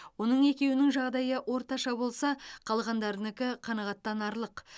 оның екеуінің жағдайы орташа болса қалғандарынікі қанағаттанарлық